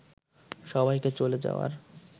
সবাইকে চলে যাওয়ার